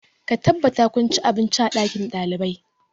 Ka tabbata kun ci abinci a ɗakin ɗalibai!